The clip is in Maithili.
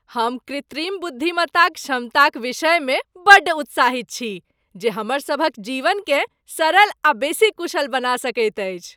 हम कृत्रिम बुद्धिमत्ताक क्षमताक विषयमे बड्ड उत्साहित छी जे हमर सभक जीवनकेँ सरल आ बेसी कुशल बना सकैत अछि।